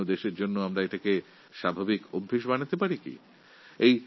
সমাজের জন্য দেশের জন্য আমরা কি এটাকে আমাদের স্বাভাবিক অভ্যাসে পরিণত করতে পারি না